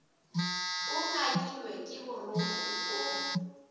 o ngangilwe ke borokgo o